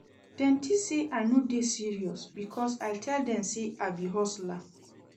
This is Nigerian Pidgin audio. Dem tink sey I no dey serious because I tell dem sey I be hustler.